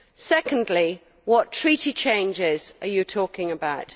Secondly what treaty changes are you talking about?